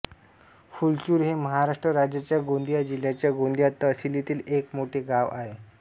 फुलचूर हे महाराष्ट्र राज्याच्या गोंदिया जिल्ह्याच्या गोंदिया तहसीलीतील एक मोठे गाव आहे